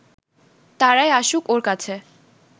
তারাই আসুক ওর কাছে